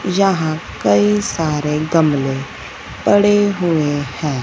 यहां कई सारे गमले पड़े हुए हैं।